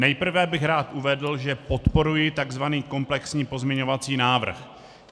Nejprve bych rád uvedl, že podporuji tzv. komplexní pozměňovací návrh.